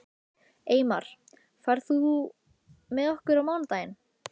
Eymar, ferð þú með okkur á mánudaginn?